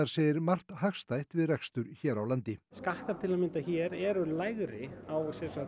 segir margt hagstætt við rekstur hér á landi skattar til að mynda hér eru lægri á